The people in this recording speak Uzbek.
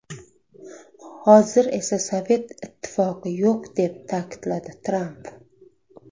Hozir esa Sovet Ittifoqi yo‘q”, deb ta’kidladi Tramp.